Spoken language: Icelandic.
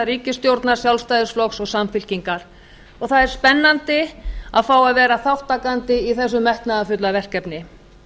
ríkisstjórnar sjálfstæðisflokks og samfylkingar og það er spennandi að fá að vera þátttakandi í þessu metnaðarfulla verkefni